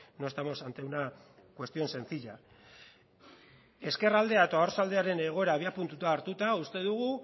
no estamos ante una cuestión sencilla ezkerraldea eta oarsoaldearen egoera abiapuntua hartuta uste dugu